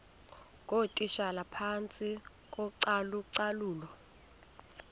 ngootitshala phantsi kocalucalulo